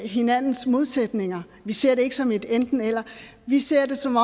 hinandens modsætninger vi ser det ikke som et enten eller vi ser det som